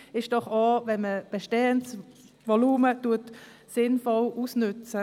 Vernünftig ist es doch auch, wenn man bestehendes Volumen sinnvoll ausnutzt.